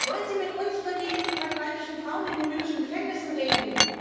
Wollen Sie mit uns über die vergewaltigten Frauen in den libyschen Gefängnissen reden?